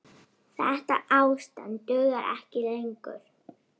Þetta ástand dugar ekki lengur.